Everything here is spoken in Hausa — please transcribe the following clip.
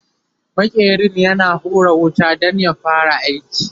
maƙerin yana hura wuta Dan ya fara aiki